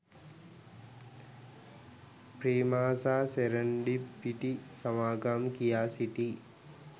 Prima සහ සෙරන්ඩිබ් පිටි සමාගම් කියා සිටී